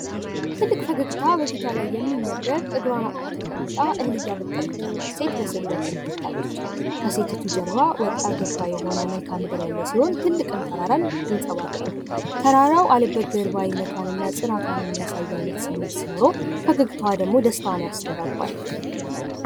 ትልቅ ፈገግታ ከፊቷ ላይ የሚነበብ እጓሮዋ ተቀምጣ እህል የምታበጥር ሴት ትታያለች። ከሴቲቱ ጀርባ ወጣ ገባ የሆነ ትልቅ መልክአ ምድር ተራራ ይንፀባረቃል። ፈገግታዋ ደስታዋን ያስተጋባል።